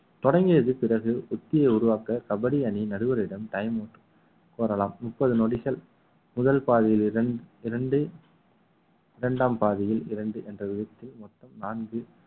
தொடங்கியது பிறகு உத்தியை உருவாக்க கபடி அணி நடுவரிடம் time க்கு கூறலாம் முப்பது நொடிகள் முதல் பாதியில் இர~ இரண்டு இரண்டாம் பாதியில் இரண்டு என்ற விதத்தில் மொத்தம் நான்கு